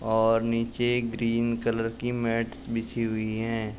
और नीचे green colour की मैट्स बिछी हुई हैं।